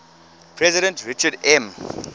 president richard m